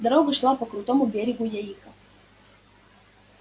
дорога шла по крутому берегу яика